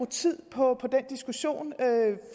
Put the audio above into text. tid på den diskussion